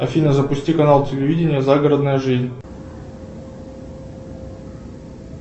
афина запусти канал телевидения загородная жизнь